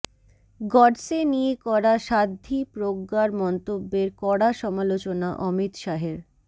গডসে নিয়ে করা সাধ্বী প্রজ্ঞার মন্তব্যের কড়া সমালোচনা অমিত শাহের